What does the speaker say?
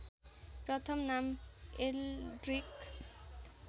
प्रथम नाम एल्ड्रिक